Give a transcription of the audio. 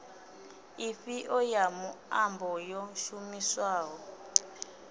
ifhio ya muambo yo shumiswaho